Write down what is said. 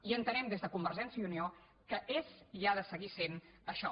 i entenem des de convergència i unió que és i ha de seguir sent això